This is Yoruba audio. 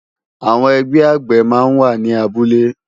Awòn ègbè àgbé má n wá ni àbúlé